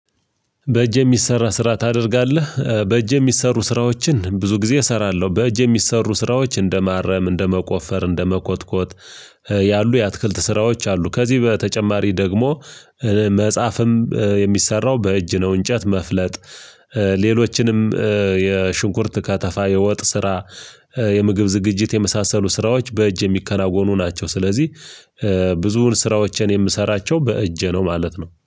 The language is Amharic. በእጅ የሚሰራ ስራ ታደርጋለህ? በእጅ የሚሰሩ ስራዎችን ብዙ ጊዜ እሰራለሁ። በእጅ የሚሰሩ ስራዎች እንደማረም፣ እንደ መቆፈር፣ እንደ መኮትኮት፣ ያሉ የአትክልት ስራዎች አሉ። ከዚህ በተጨማሪ ደግሞ መጽሐፍም የሚሰራው በእጅ ነው። እንጨት መፍለጥ። ሌሎችንም የሽንኩርት ከተፋ፣ የወጥ ስራ የምግብ ዝግጅት የመሳሰሉ ስራዎች በእጅ የሚከናወኑ ናቸው። ስለዚህ ብዙውን ስራዎቼን የምሰራቸው በእጄ ነው ማለት ነው።